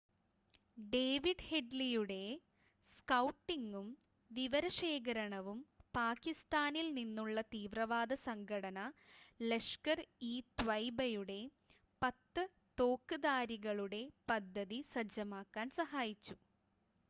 David ഹെഡ്‌ലിയുടെ സ്‌കൗട്ടിങ്ങും വിവരശേഖരണവും പാകിസ്ഥാനിൽ നിന്നുള്ള തീവ്രവാദ സംഘടന ലഷ്കർ-ഇ-ത്വയ്യിബയുടെ 10 തോക്ക്ധാരികളുടെ പദ്ധതി സജ്ജമാക്കാൻ സഹായിച്ചു